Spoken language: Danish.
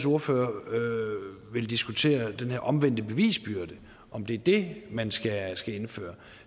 ordfører vil diskutere den her omvendte bevisbyrde og om det er det man skal skal indføre